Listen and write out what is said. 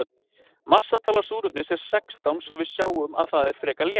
massatala súrefnis er sextán svo að við sjáum að það er frekar létt